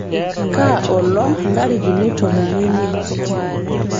kaa olong' ntarikini tomon omiet